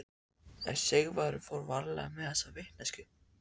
En Sigvarður fór varlega með þessa vitneskju.